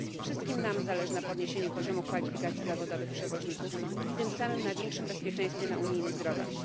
Wszystkim nam zależy na podniesieniu poziomu kwalifikacji zawodowych przewoźników, i tym samym na większym bezpieczeństwie na unijnych drogach.